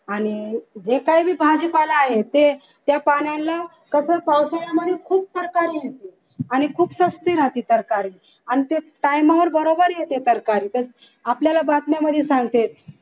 आणि जे काय ते भाजीपाला आहे ते पाण्यांच्या कसं पावसाळ्यामध्ये खूप सरकारी येथे आणि खूप स्वस्ती राहते सरकारी आणि ते time वर बरोबर येते सरकारी आपल्याला बातम्यांमध्ये सांगतात